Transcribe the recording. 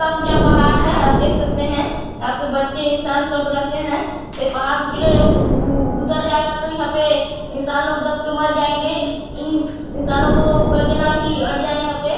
बडा ऊंचा पहाड़ है आप देख सकते हैं यहाँ पे बच्चे इंसान सब रहते हैं ए पहाड़ उछले उउउउउउदर जायेगा तो यहाँपे इंसान लोग दब के मर जायेंगे इंसानो को कह देना की अट जाये यहाँ --